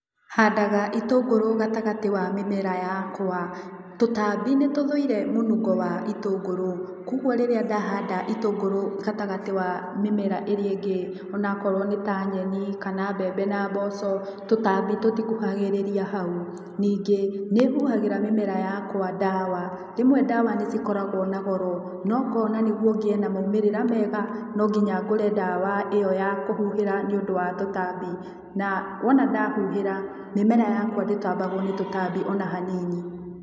Handaga itũngũrũ gatagatĩ wa mĩmera yakwa, tũtambi nĩtũthũire mũnungo wa itũngũrũ koguo rĩrĩa ndahanda itũngũrũ gatagatĩ wa mĩmera ĩrĩa ĩngĩ onakorwo nĩ ta nyeni kana mbembe na mboco tũtambi tũtikuhagĩrĩria hau. Ningĩ nĩhuhagĩra tũtambi ndawa, rĩmwe ndawa nĩcikoragwo na goro no ngona nĩguo ngĩe na maumĩrĩra mega no nginya ngũre ndawa ĩyo ya kũhuhĩra nĩũndũ wa tũtambi na wona ndahuhĩra mĩmera yakwa ndĩtambagwo nĩ tũtambi ona hanini.